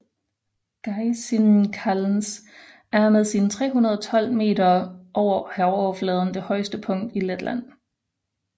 Gaiziņkalns er med sine 312 meter over havoverfladen det højeste punkt i Letland